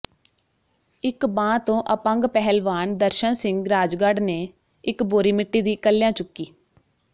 ਇਕ ਬਾਂਹ ਤੋਂ ਅਪੰਗ ਪਹਿਲਵਾਨ ਦਰਸ਼ਨ ਸਿੰਘ ਰਾਜਗੜ੍ਹ ਨੇ ਇਕ ਬੋਰੀ ਮਿੱਟੀ ਦੀ ਇਕੱਲਿਆਂ ਚੁੱਕੀ